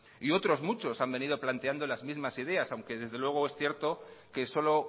y otros muchos han venido planteando las mismas ideas aunque desde luego es cierto que solo